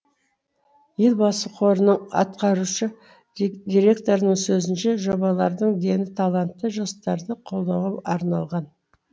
елбасы қорының атқарушы директорының сөзінше жобалардың дені талантты жастарды қолдауға арналған